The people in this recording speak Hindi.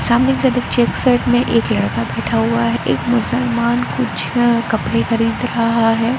सामने चेक शर्ट में एक लड़का बैठा हुआ है एक मुसलमान कुछ कपड़े खरीद रहा है।